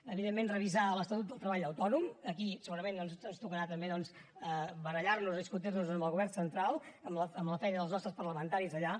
evidentment revisar l’estatut del treball autònom aquí segurament doncs ens tocarà també barallar nos discutir nos amb el govern central amb la feina dels nostres parlamentaris d’allà